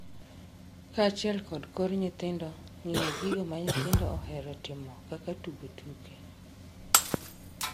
kaachiel kod kor nyithindo, ngiyo gigo ma nyithindo ohero timo kaka tugo tuke,